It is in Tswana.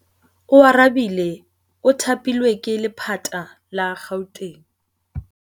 Oarabile o thapilwe ke lephata la Gauteng.